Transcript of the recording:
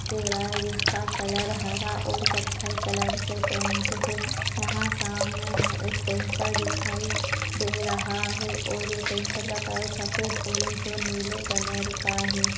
दे रहा है जिसका कलर हरा और कत्थई कलर से पेंट है यहाँ सामने एक टैंकर दिखाई दे रहा है और जो टैंकर का कलर सफेद ऑरेंज और नीले कलर का हैं ।